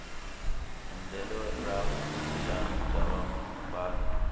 endlelo ra vupulani bya vumbano